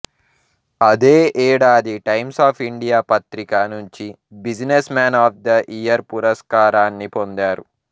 అదే ఏడాది Times of India పత్రిక నుంచి businessman of the year పురస్కారాన్ని పొందారు